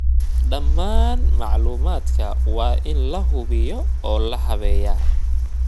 Dhammaan macluumaadka waa in la hubiyaa oo la habeeyaa.